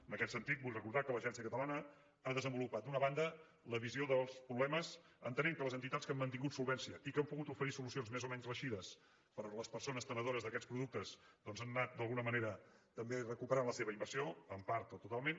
en aquest sentit vull recordar que l’agència catalana ha desenvolupat d’una banda la visió dels problemes entenent que les entitats que han mantingut solvència i que han pogut oferir solucions més o menys reeixides per a les persones tenidores d’aquests productes doncs han anat d’alguna manera també recuperant la seva inversió en part o totalment